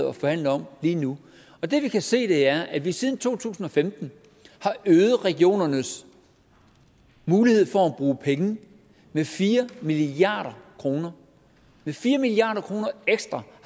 og forhandler om lige nu det vi kan se er at vi siden to tusind og femten har øget regionernes mulighed for at bruge penge med fire milliard kroner med fire milliard kroner ekstra